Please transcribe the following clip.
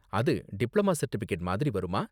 அது diploma certificate மாதிரி வருமா?